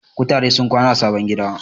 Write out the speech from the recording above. Kutare sun kwana a sabon gida.